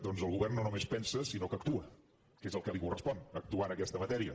doncs el govern no només pensa sinó que actua que és el que li correspon actuar en aquesta matèria